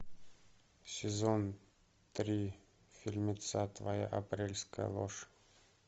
сезон три фильмеца твоя апрельская ложь